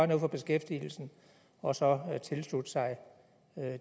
noget for beskæftigelsen og så tilslutte sig